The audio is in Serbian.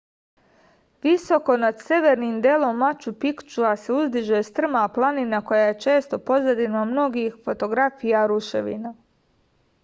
visoko nad severnim delom maču pikčua se uzdiže strma planina koja je često pozadina mnogih fotografija ruševina